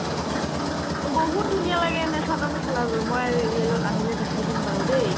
বহুত ধুনীয়া লাগে এনে চাদৰ মেখেলাযোৰ মই আজি real ত আনিহে দেখাই দিম বাৰু দেই